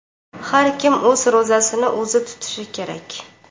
Har kim o‘z ro‘zasini o‘zi tutishi kerak.